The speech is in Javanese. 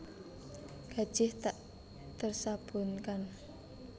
Gajih tak tersabunkan